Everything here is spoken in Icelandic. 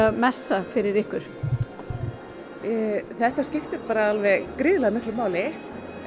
messa fyrir ykkur þetta skiptir gríðarlega miklu máli